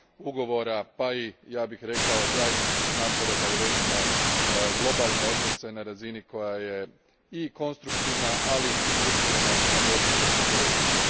ugovora pa i ja bih rekao zajedničkih napora da uredimo globalne odnose na razini koja je i konstruktivna, ali i usmjerena na borbu protiv terorizma.